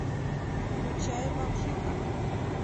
включай бомжиха